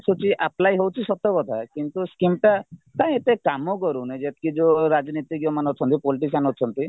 apply ହଉଚି ସତକଥା କିନ୍ତୁ scheme ଟା କାଇଁ ଏତେ କାମକରୁନି ଯେତିକି ଯୋଉ ରାଜନୀତିଜ୍ଞ ମାନେ ଅଛନ୍ତି politician ଅଛନ୍ତି